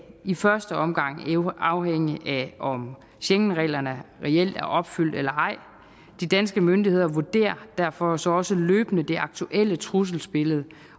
i første omgang afhænge af om schengenreglerne reelt er opfyldt eller ej de danske myndigheder vurderer jo derfor så også løbende det aktuelle trusselsbillede